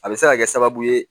A bɛ se ka kɛ sababu ye